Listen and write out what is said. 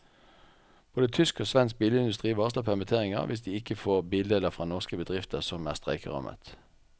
Både tysk og svensk bilindustri varsler permitteringer hvis de ikke får bildeler fra norske bedrifter som er streikerammet.